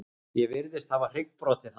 Ég virðist hafa hryggbrotið hann.